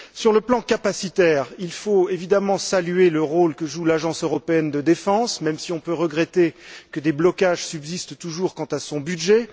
Sur le plan capacitaire, il faut évidemment saluer le rôle que joue l'Agence européenne de défense, même si on peut regretter que des blocages subsistent toujours quant à son budget.